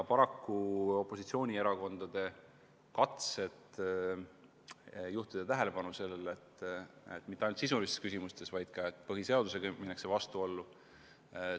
Paraku opositsioonierakondade katsed juhtida tähelepanu sellele, et mitte ainult sisulistes küsimustes, vaid ka põhiseadusega seonduvas minnakse vastuollu, ei läinud korda.